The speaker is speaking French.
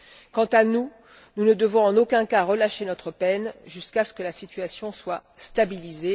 Quant à nous, nous ne devons en aucun cas relâcher notre peine jusqu'à ce que la situation soit stabilisée.